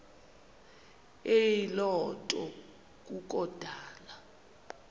eyiloo nto kukodana